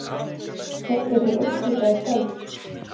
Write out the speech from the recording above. Keppt er til úrslita í kvöld